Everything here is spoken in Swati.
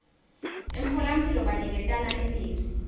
emtfolamphilo baniketana imitsi